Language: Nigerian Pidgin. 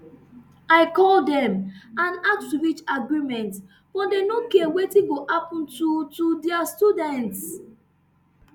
i call dem and ask to reach agreement but dem no care wetin go happun to to dia students